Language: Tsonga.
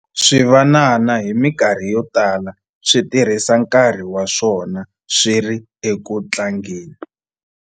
swivanana hi mikarhi yo tala swi tirhisa nkarhi wa swona swi ri eku tlangeni